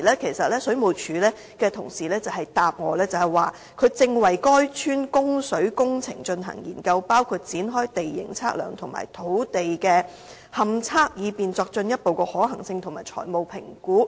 當時，水務署同事回答我說正為該村的供水工程進行研究，包括展開地形測量及土地勘測，以便作進一步的可行性及財務評估。